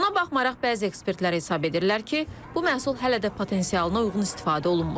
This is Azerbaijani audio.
Buna baxmayaraq bəzi ekspertlər hesab edirlər ki, bu məhsul hələ də potensialına uyğun istifadə olunmur.